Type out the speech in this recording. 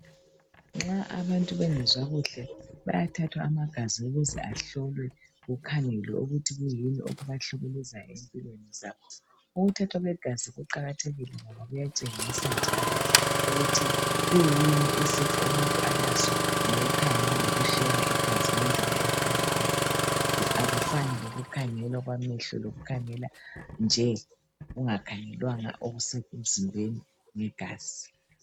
Nxa abantu bengezwa kuhle bayathathwa amagazi ukuze ahlolwe kukhangelwe ukuthi kuyini okubahlukuluza ezimpilweni zabo .Ukuthathwa kwegazi kuqakathekile ngoba kuyatsengisa njalo ukuthi kuyini isifo umuntu alaso ngokukhangela lokuhlola igazi ngendlela evamileyo ,akufani lokukhangela okwamehlo lokukhangela nje kungakhangelwanga okusemzimbeni ngegazi